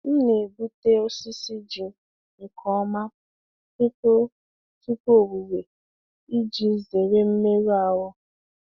M na-egbutu osisi ji nke ọma tupu tupu owuwe iji zere mmerụ ahụ.